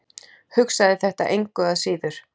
Hugsaði þetta engu að síður.